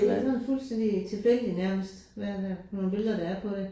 Det ligner fuldstændig tilfældig nærmest hvad hvad for nogle billeder der er på det